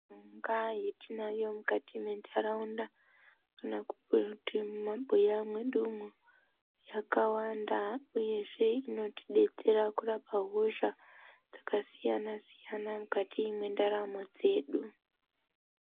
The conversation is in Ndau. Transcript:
Mungayi yatinayo mukati mwendaraunda kana kuti mumabuya mwedu umwu yakawanda uyezve inotibetsera kurapa hosha dzakasiyana siyana mukati mwendaramo dzedu.